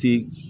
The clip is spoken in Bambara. Ti